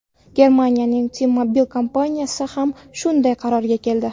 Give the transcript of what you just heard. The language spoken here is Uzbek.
Germaniyaning T-Mobile kompaniyasi ham shunday qarorga keldi.